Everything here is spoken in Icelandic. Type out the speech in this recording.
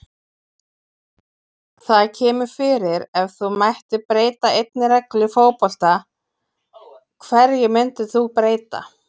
Það kemur fyrir Ef þú mættir breyta einni reglu í fótbolta, hverju myndir þú breyta?